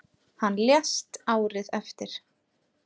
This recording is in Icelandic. Hann lést árið eftir.